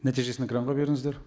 нәтижесін экранға беріңіздер